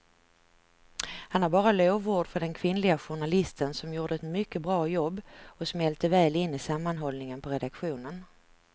Han har bara lovord för den kvinnliga journalisten som gjorde ett mycket bra jobb och smälte väl in i sammanhållningen på redaktionen.